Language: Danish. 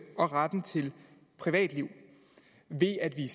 og retten til privatliv ved at vi